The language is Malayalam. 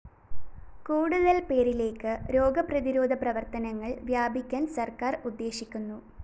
കൂടുതല്‍ പേരിലേക്ക് രോഗപ്രതിരോധ പ്രവര്‍ത്തനങ്ങള്‍ വ്യാപിക്കാന്‍ സര്‍ക്കാര്‍ ഉദ്ദേശിക്കുന്നു